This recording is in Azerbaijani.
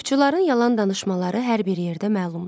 Ovçuların yalan danışmaları hər bir yerdə məlumdur.